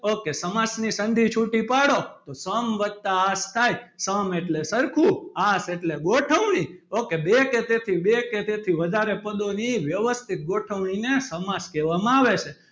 Okay સમાસ ને સંધી છૂટી પાડો તો સમ વત્તા આસ થાય તો સમ એટલે સરખુ આંસ એટલે ગોઠવણી okay બે કે તેથી બે કે તેથી વધારે પદોની વ્યવસ્થિત ગોઠવણી ને સમાસ કહેવામાં આવે છે.